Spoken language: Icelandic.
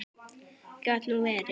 Gat nú verið.